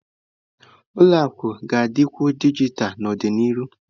Ụlọ akụ ga-adịkwu dijitalụ n'ọdịnihu.